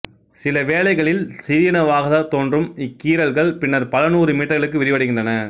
சில வேளைகளில் சிறியனவாகத் தோன்றும் இக்கீறல்கள் பின்னர் பல நூறு மீட்டர்களுக்கு விரிவடைகின்றன